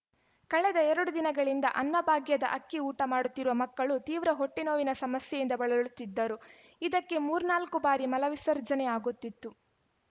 ಕಳೆದ ಎರಡು ದಿನಗಳಿಂದ ಅನ್ನ ಭಾಗ್ಯದ ಅಕ್ಕಿ ಊಟ ಮಾಡುತ್ತಿರುವ ಮಕ್ಕಳು ತೀವ್ರ ಹೊಟ್ಟೆನೋವಿನ ಸಮಸ್ಯೆಯಿಂದ ಬಳಲುತ್ತಿದ್ದರು ಇದಕ್ಕೆ ಮೂರ್ನಾಲ್ಕು ಬಾರಿ ಮಲ ವಿಸರ್ಜನೆ ಆಗುತ್ತಿತ್ತು